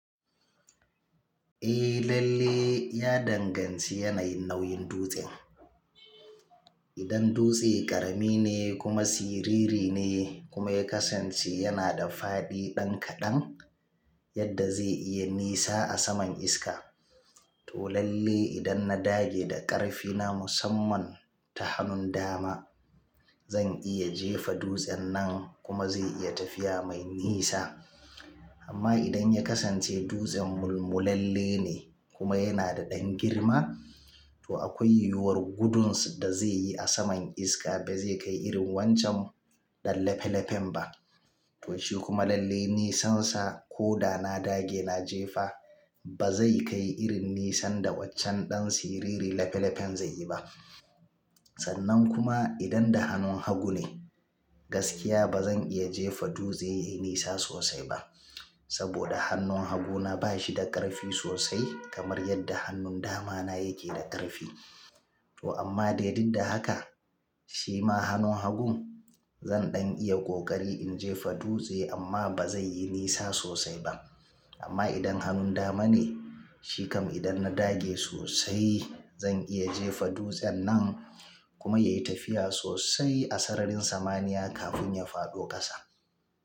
Eh lalle ya danganci yanayin nauyin dutsen. Idan dutse ƙarami ne kuma siriri ne kuma ya kasance yana da fadi ɗan kaɗan yadda zai iya nisa a saman iska. To lalle idan na dage da ƙarfi na musamman ta hannun dama, zan iya jefa dutsen nan kuma zai iya tafiya mai nisa. Amma idan ya kasance dutsen mulmulalle ne kuma yana da ɗan girma, to akwai yiwuwar gudun da zai yi a saman iska ba zai kai irin wancan ɗan lefe lefen ba. To shi kuma lalle nisansa ko da na dage na jefa ba zai kai irin nisan da waccen ɗan siriri lefe lefen zai yi ba. Sannan kuma idan da hannun hagu ne, gaskiya ba zan iya jefa dutse yayi nisa sosai ba. Saboda hannun haguna ba shi da ƙarfi sosai kamar yadda hannun damana yake da ƙarfi. To amma dai duk da haka, shi ma hannun hagun zan ɗan iya ƙoƙari in jefa dutse amma ba zai yi nisa sosai ba. Amma idan hannun dama ne, shi kam idan na dage sosai zan iya jefa dutsen nan kuma ya yi tafiya sosai a sararin samaniya kafin ya faɗo ƙasa.